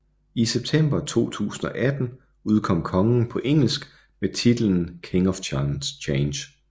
I september 2018 udkom Kongen på engelsk med titlen King of Change